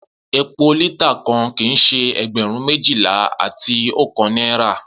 Epo lita kan kii ṣe ẹgbẹrun mejila ati ọkan naira.